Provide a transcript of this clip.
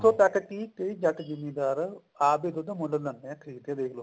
ਕਈ ਜੱਟ ਜਿਮੀਦਾਰ ਆਪ ਹੀ ਦੁੱਧ ਮੁੱਲ ਖਰੀਦਦੇ ਨੇ ਦੇਖਲੋ